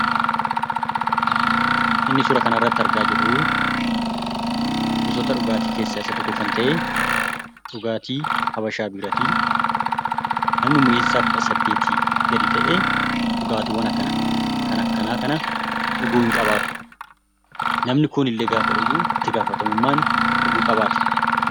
Kan suuraa kana irratti argamu gosoota dhugaatii keessaa tokkoo dha. Innis dhugaatii Habashaa Biiraati. Dabalatan namoota umuriin isaanii hin geenyeef kan heeyyamamu miti.